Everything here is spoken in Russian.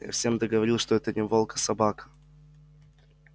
я всем да говорил что это не волк а собака